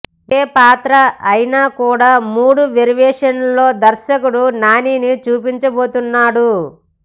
ఒకే పాత్ర అయినా కూడా మూడు వేరియేషన్స్లో దర్శకుడు నానిని చూపించబోతున్నాడు